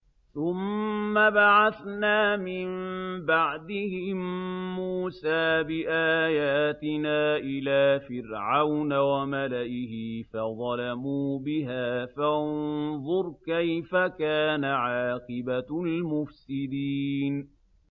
ثُمَّ بَعَثْنَا مِن بَعْدِهِم مُّوسَىٰ بِآيَاتِنَا إِلَىٰ فِرْعَوْنَ وَمَلَئِهِ فَظَلَمُوا بِهَا ۖ فَانظُرْ كَيْفَ كَانَ عَاقِبَةُ الْمُفْسِدِينَ